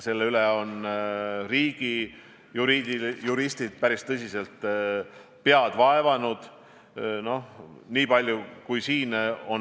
Selle üle on riigi juristid päris tõsiselt pead murdnud.